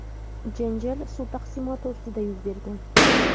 janjal suv taqsimoti ustida yuz bergan.